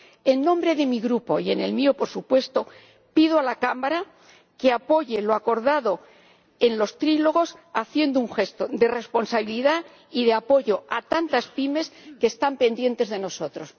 En nombre de mi Grupo, y en el mío, por supuesto, pido a la Cámara que apoye lo acordado en los diálogos tripartitos, haciendo un gesto de responsabilidad y de apoyo a tantas pymes que están pendientes de nosotros.